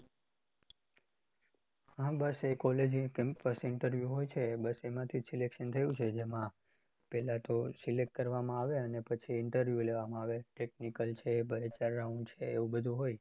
હા બસ એ college એ campus interview હોય છે એમાં થી selection થયું છે એમાં પહેલા તો select કરવામાં આવે પછી interview લેવામાં આવે technical બે ચાર round છે એવું બધુ હોય